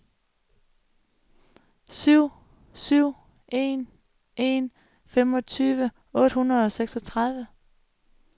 syv syv en en femogtyve otte hundrede og seksogtredive